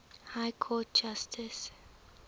high court judge